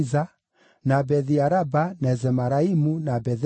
na Bethi-Araba, na Zemaraimu, na Betheli,